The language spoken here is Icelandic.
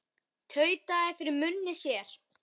Tautaði fyrir munni sér.